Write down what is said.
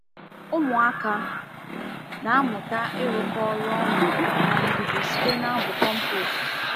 Ụmụaka na-amụta ịrụkọ ọrụ ọnụ na ndidi site n’abụ compost.